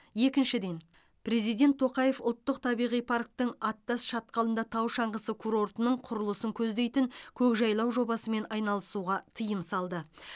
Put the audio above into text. екіншіден президент тоқаев ұлттық табиғи парктің аттас шатқалында тау шаңғысы курортының құрылысын көздейтін көкжайлау жобасымен айналысуға тыйым салды